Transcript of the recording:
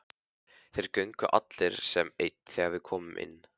Þeir þögnuðu allir sem einn þegar við komum inn.